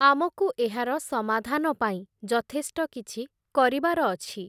ଆମକୁ ଏହାର ସମାଧାନ ପାଇଁ, ଯଥେଷ୍ଟ କିଛି କରିବାର ଅଛି ।